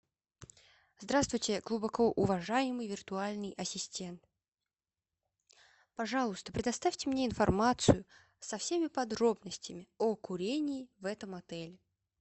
здравствуйте глубокоуважаемый виртуальный ассистент пожалуйста предоставьте мне информацию со всеми подробностями о курении в этом отеле